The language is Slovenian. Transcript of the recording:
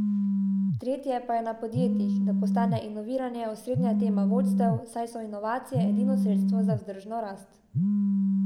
Tretje pa je na podjetjih, da postane inoviranje osrednja tema vodstev, saj so inovacije edino sredstvo za vzdržno rast.